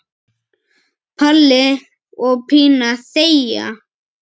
Palli og Pína þegja.